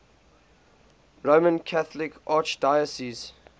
roman catholic archdiocese